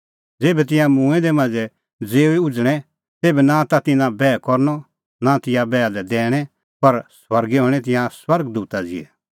ज़ेभै तिंयां मूंऐं दै मांझ़ै ज़िऊई उझ़णै तेभै नां ता तिन्नां बैह करनअ नां तिंयां बैहा लै दैणैं पर स्वर्गै हणैं तिंयां स्वर्ग दूता ज़िहै